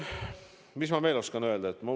Mis ma veel oskan öelda?